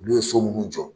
Ulu ye so munnu jɔ